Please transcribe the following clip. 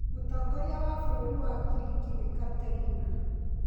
Mũtongoria wa bũrũri wa Ngiriki nĩ Katerina.